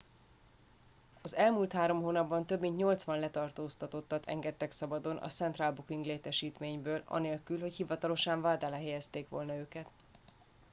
az elmúlt 3 hónapban több mint 80 letartóztatottat engedtek szabadon a central booking létesítményből anélkül hogy hivatalosan vád alá helyezték volna őket